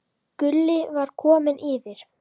Gulli var kominn yfir.